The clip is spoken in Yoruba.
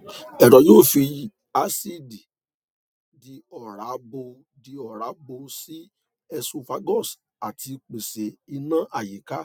ẹrọ yóò fi àcidì di oòrá bọ di oòrá bọ sí esophagus àti pèsè ìná àyíká